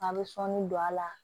A bɛ sɔɔni don a la